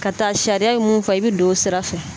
Ka taa sariya ye mun fɔ i bɛ don o sira fɛ